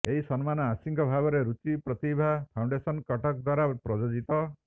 ଏହି ସମ୍ମାନ ଆଂଶିକ ଭାବରେ ରୁଚି ପ୍ରତିଭା ଫାଉଣ୍ଡେସନ କଟକ ଦ୍ବାରା ପ୍ରାୟୋଜିତ